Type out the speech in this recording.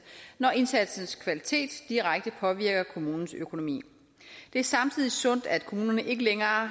når indsatsens kvalitet direkte påvirker kommunens økonomi det er samtidig sundt at kommunerne ikke længere har